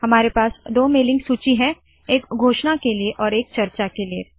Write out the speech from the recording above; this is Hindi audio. हमारे पास दो मेलिंग सूची है एक घोषणा के लिए और एक चर्चा के लिए